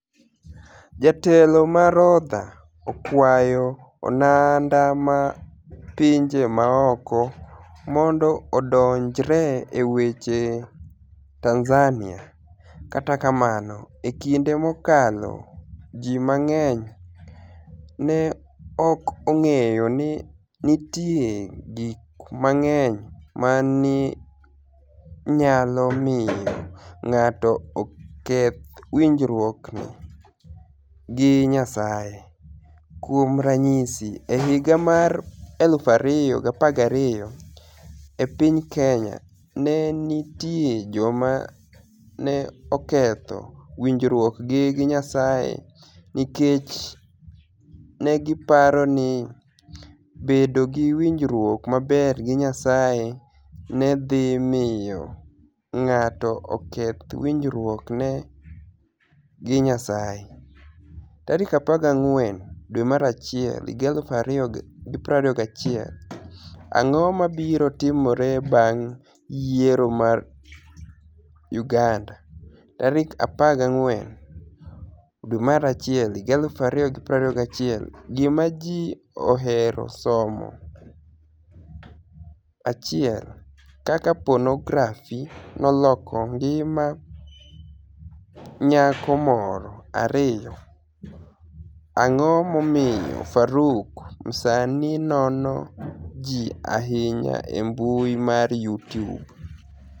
Jatelo ma Rodha okwayo oganida ma pinije maoko monido odonijre e weche Tanizaniia Kata kamano, e kinide mokalo, ji manig'eniy ni e ok onig'eyo nii ni e niitie gik manig'eniy ma ni e niyalo miyo nig'ato oketh winijruokni e gi niyasaye. Kuom raniyisi, e higa mar 2012, e piniy Keniya, ni e niitie joma ni e oketho winijruokgi gi niyasaye niikech ni e giparo nii bedo gi winijruok maber gi niyasaye ni e dhi miyo nig'ato oketh winijruokni e gi niyasaye. 14 Janiuar 2021 Anig'o mabiro timore banig' yiero mar Uganida? 14 Janiuar 2021 Gima Ji Ohero Somo 1 Kaka Ponografi noloko nigima niyako moro 2 Anig'o momiyo Faruk Msanii nono ji ahiniya e mbui mar Youtube?